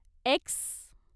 x